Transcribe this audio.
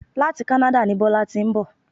Láti Canada ni Bọ́lá ti ń bọ̀